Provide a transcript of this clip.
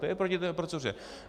To je proti té proceduře.